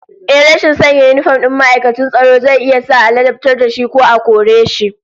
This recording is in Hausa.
Ehh, rashin sanya yinifom din ma'aikacin tsaro zai iya sa a ladabtar da shi ko a kore shi